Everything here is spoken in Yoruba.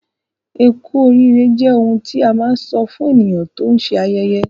Ẹ́ku oriire jẹ́ oḥun tí à má nsọ̀ fún ènìyàn tó n ṣé ayẹyẹ